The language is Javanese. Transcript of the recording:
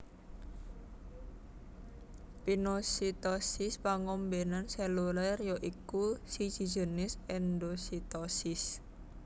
Pinositosis pangombenan seluler ya iku salah siji jinis endositosis